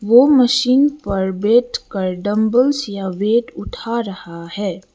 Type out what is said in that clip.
वो मशीन पर बैठ कर डंबल्स या वेट उठा रहा है।